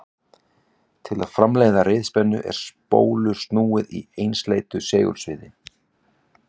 Til að framleiða riðspennu er spólu snúið í einsleitu segulsviði.